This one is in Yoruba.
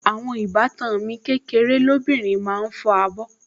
Àwọn ìbátan mi kékeré lóbìnrin ló máa ń fọ abọ́